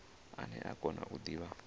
ane a kona u divha